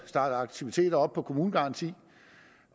starte aktiviteter op på en kommunegaranti